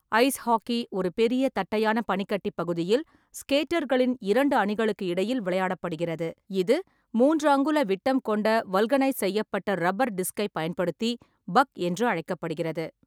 Ice hockey ஒரு பெரிய தட்டையான பனிக்கட்டி பகுதியில் ஸ்கேட்டர்களின் இரண்டு அணிகளுக்கு இடையில் விளையாடப்படுகிறது, இது மூன்று அங்குல விட்டம் கொண்ட வல்கனைஸ் செய்யப்பட்ட ரப்பர் டிஸ்க்கைப் பயன்படுத்தி பக் என்று அழைக்கப்படுகிறது.